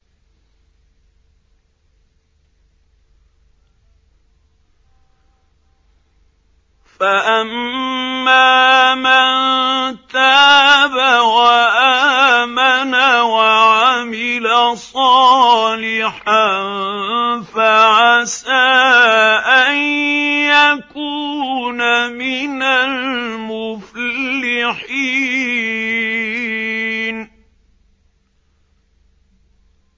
فَأَمَّا مَن تَابَ وَآمَنَ وَعَمِلَ صَالِحًا فَعَسَىٰ أَن يَكُونَ مِنَ الْمُفْلِحِينَ